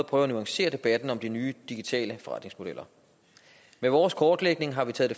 prøve at nuancere debatten om de nye digitale forretningsmodeller med vores kortlægning har vi taget